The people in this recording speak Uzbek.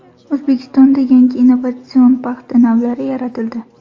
O‘zbekistonda yangi innovatsion paxta navlari yaratildi.